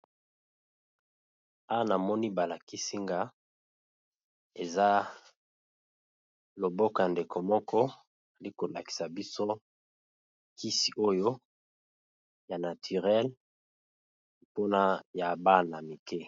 Awa namoni ba lakisi nga eza loboko ya ndeko moko ali kolakisa biso kisi oyo ya naturel mpona ya bana mike.